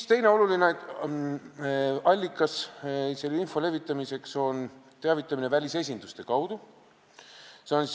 Teine oluline allikas selle info levitamiseks on teavitamine välisesinduste kaudu.